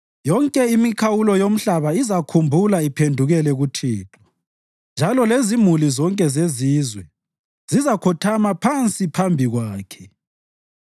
Yonke imikhawulo yomhlaba izakhumbula iphendukele kuThixo, njalo lezimuli zonke zezizwe zizakhothama phansi phambi kwakhe,